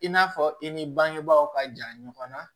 I n'a fɔ i ni bangebaaw ka ja ɲɔgɔnna